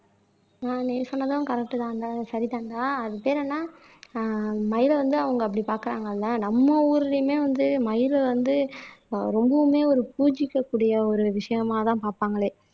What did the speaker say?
ஆஹ் நீ சொன்னதும் கரெக்ட் தான்ங்க சரிதான்டா அது பேரு என்ன ஆஹ் மயிலை வந்து அவங்க அப்படி பார்க்கிறாங்க இல்லை நம்ம ஊருலையுமே வந்து மயில வந்து ஆஹ் ரொம்பவுமே ஒரு பூஜிக்கக்கூடிய ஒரு விஷயமாதான் பார்ப்பாங்களே